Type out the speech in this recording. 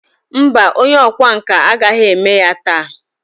Mba, onye ọkwá nkà agaghị eme ya taa.